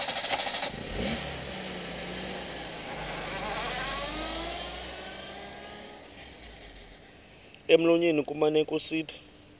emlonyeni kumane kusithi